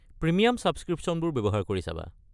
Premium ছাবস্ক্ৰীপশ্যনবোৰ ব্যৱহাৰ কৰি চাবা।